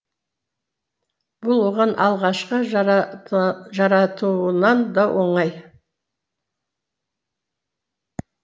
бұл оған алғашқы жаратуынан да оңай